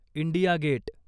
India gate